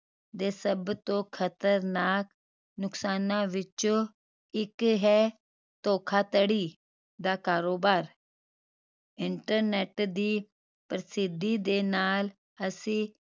ਦੇ ਸਭ ਤੋਂ ਖ਼ਤਰਨਾਕ ਨੁਕਸਾਨ ਵਿੱਚੋ ਇੱਕ ਹੈ ਧੋਖਾਧੜੀ ਦਾ ਕਾਰੋਬਾਰ internet ਦੀ ਪ੍ਰਸਿੱਧੀ ਦੇ ਨਾਲ ਅਸੀਂ